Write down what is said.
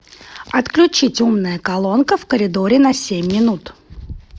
отключить умная колонка в коридоре на семь минут